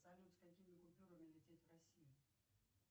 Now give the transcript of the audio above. салют с какими купюрами лететь в россию